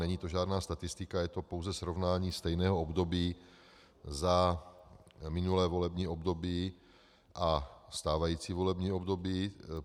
Není to žádná statistika, je to pouze srovnání stejného období za minulé volební období a stávající volební období.